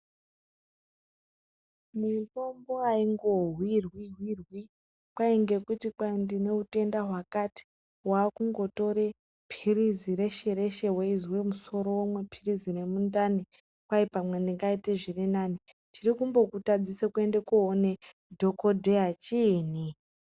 Mitombo aingohwirwi-hwiri kwai ngekuti kwai ndine utenda hwakakati, wakungotore phirizi reshe reshe weizwe musoro womwa phirizi remundani kwai pamwe ndingaite zvirinani. Chirikumbokutadzisa kuende koona dhogodheya chiinyi?.